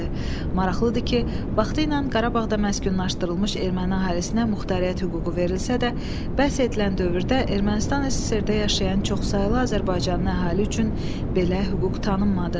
Maraqlıdır ki, vaxtı ilə Qarabağda məskunlaşdırılmış erməni əhalisinə muxtariyyət hüququ verilsə də, bəhs edilən dövrdə Ermənistan SSR-də yaşayan çoxsaylı Azərbaycanlı əhali üçün belə hüquq tanınmadı.